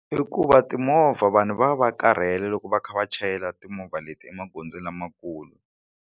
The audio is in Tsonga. I ku va timovha vanhu va va va karhele loko va kha va chayela timovha leti emagondzo lamakulu.